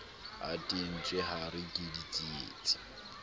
a teetswe hare ke ditsietsi